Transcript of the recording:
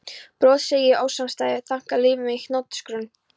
Brot, segi ég, ósamstæðir þankar líf mitt í hnotskurn?